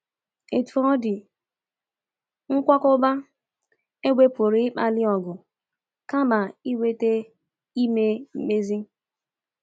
Otú ọ dị, nkwakọba égbè pụrụ ịkpali ọgụ kama ịweta ime mkpezi.